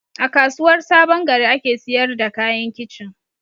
A kasuwar sabongari ake siyar da kayan kicin